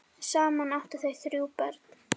Saman áttu þau þrjú börn.